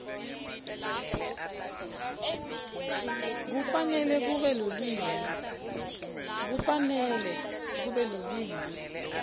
kufanele kube lulwimi